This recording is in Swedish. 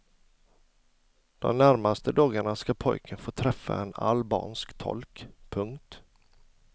De närmaste dagarna ska pojken få träffa en albansk tolk. punkt